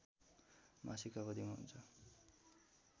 मासिक अवधिमा हुन्छ